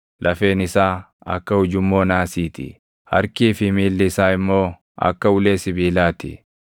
Lafeen isaa akka ujummoo naasii ti; harkii fi miilli isaa immoo akka ulee sibiilaa ti.